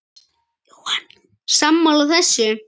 Jóhann: Sammála þessu?